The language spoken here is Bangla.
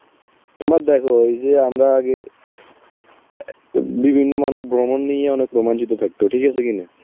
তোমরা দেখো এই যে আমরা আগে অ্যাঁ বিভিন্ন মানুষ ভ্রমণ নিয়ে অনেক রোমাঞ্চিত থাক, ঠিক আছে কিনা?